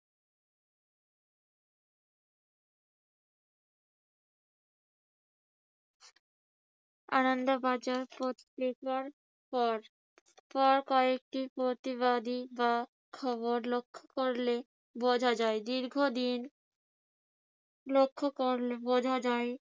আনন্দ বাজার পত্রিকার পর পর কয়েকটি প্রতিবাদী বা খবর লক্ষ্য করলেই বোঝা যায় দীর্ঘদিন লক্ষ্য করলে বোঝা যায়